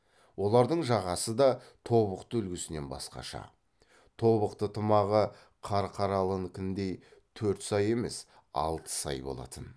олардың жағасы да тобықты үлгісінен басқаша тобықты тымағы қарқаралынікіндей төрт сай емес алты сай болатын